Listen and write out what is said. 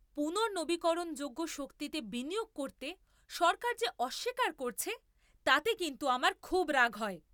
পুনর্নবীকরণযোগ্য শক্তিতে বিনিয়োগ করতে সরকার যে অস্বীকার করছে, তাতে কিন্তু আমার খুব রাগ হয়।